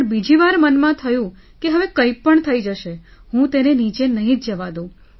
પણ બીજી વાર મનમાં થયું કે હવે કંઈપણ થઈ જશે તો હું તેને નીચે જવા નહીં દઉં